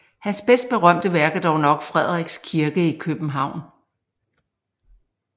Hans best berømte værk er dog nok Frederiks Kirke i København